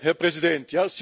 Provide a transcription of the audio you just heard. Herr Präsident!